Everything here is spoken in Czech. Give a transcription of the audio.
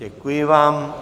Děkuji vám.